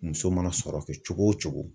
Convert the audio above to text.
Muso mana sɔrɔ kɛ cogo o cogo